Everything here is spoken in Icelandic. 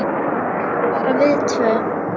Já, bara við tvö.